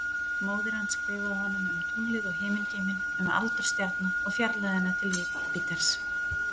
Móðir hans skrifaði honum um tunglið og himingeiminn, um aldur stjarna og fjarlægðina til Júpiters.